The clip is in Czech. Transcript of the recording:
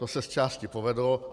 To se z části povedlo.